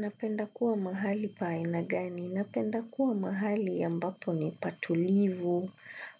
Napenda kuwa mahali pa aina gani. Napenda kuwa mahali ambapo ni patulivu,